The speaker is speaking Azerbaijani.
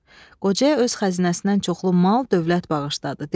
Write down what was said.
Qocaya öz xəzinəsindən çoxlu mal, dövlət bağışladı.